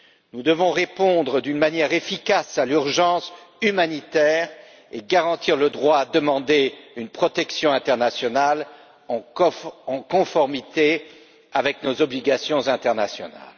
Nous devons répondre d'une manière efficace à l'urgence humanitaire et garantir le droit à demander une protection internationale en conformité avec nos obligations internationales.